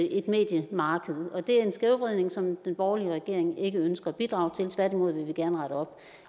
et mediemarked og det er en skævvridning som den borgerlige regering ikke ønsker at bidrage til tværtimod vil vi gerne rette op